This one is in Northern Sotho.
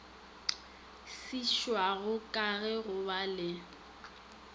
šitwago ke go ba le